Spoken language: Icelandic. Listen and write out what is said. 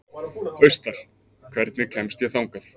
Austar, hvernig kemst ég þangað?